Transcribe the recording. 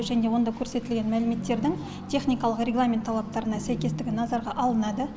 және онда көрсетілген мәліметтердің техникалық регламент талаптарына сәйкестігі назарға алынады